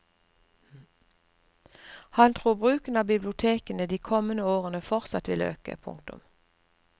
Han tror bruken av bibliotekene de kommende årene fortsatt vil øke. punktum